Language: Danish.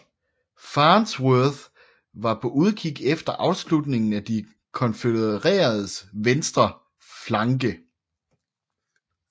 Farnsworth var på udkig efter afslutningen af de konfødereredes venstre flanke